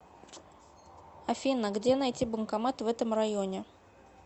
афина где найти банкомат в этом районе